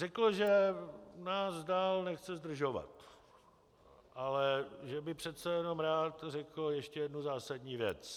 Řekl, že nás dál nechce zdržovat, ale že by přece jenom rád řekl ještě jednu zásadní věc.